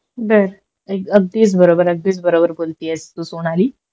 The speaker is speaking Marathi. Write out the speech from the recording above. बर हे अगदीच बरोबर अगदीच बरोबर बोलतीयेस तू सोनाली